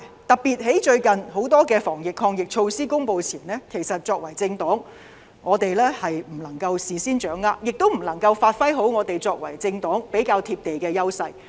特別是最近很多防疫抗疫措施公布前，政黨不能夠事先掌握，亦不能發揮作為政黨比較"貼地"的優勢。